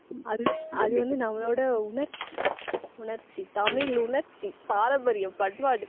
அது வந்து அது வந்து நம்மளோட உணர்ச்சி உணர்ச்சி தமிழுணர்ச்சி பாரம்பரியம் பண்பாடு